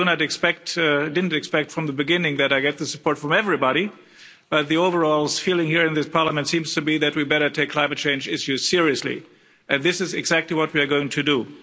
I didn't expect from the beginning that I would get support from everybody, but the overall feeling here in this Parliament seems to be that we better take climate change issues seriously, and this is exactly what we are going to do.